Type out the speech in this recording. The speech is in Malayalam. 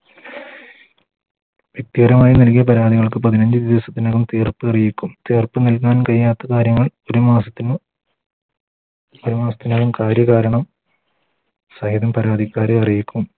വ്യക്തിപരമായി നൽകിയ പരാതികൾക്ക് പതിനഞ്ച് ദിവസത്തിനകം തീർപ്പ് അറിയിക്കും ഉറപ്പ് നല്കാൻ കഴിയാത്ത കാര്യങ്ങൾ ഒരു മാസത്തിന് ഒരു മാസത്തിനകം കാര്യാ കാരണം സഹിതം പരാതിക്കാരെ അറിയിക്കും